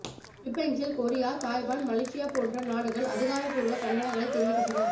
Philippines Korea Taiwan Malaysia போன்ற நாடுகள் அதிகாரபூர்வ கண்டனங்களைத் தெரிவிக்கின்றன